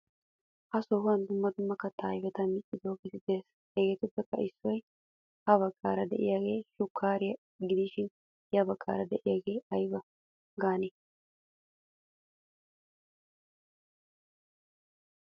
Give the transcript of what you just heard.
Ha sohuwan dumma dumma katta ayfetta miccidoge de'ees. Hegettuppe issoy ha baggara de'iyaa shukariya gidishin ya bagaara deiayaga ayba gaane?